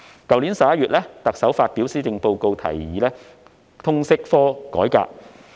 特首在去年11月發表施政報告時提議改革通識科。